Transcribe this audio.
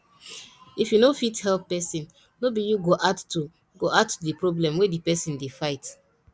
if you no fit help person no be you go add to go add to di problem wey di person dey fight